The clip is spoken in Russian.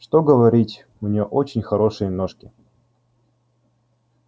что говорить у нее очень хорошенькие ножки